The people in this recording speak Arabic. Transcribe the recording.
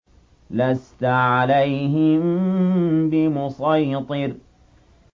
لَّسْتَ عَلَيْهِم بِمُصَيْطِرٍ